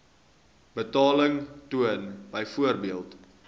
betaling toon byvoorbeeld